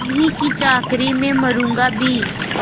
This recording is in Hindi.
उन्हीं की चाकरी में मरुँगा भी